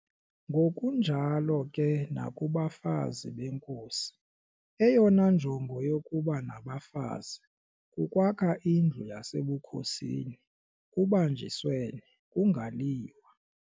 Ngokunjalo ke nakubafazi beenkosi, eyona njongo yokuba naba bafazi kukwakha indlu yasebukhosini kubanjiswene, kungaliwa.